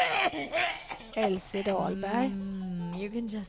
Elise Dahlberg